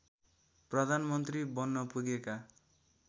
प्रधानमन्त्री बन्न पुगेका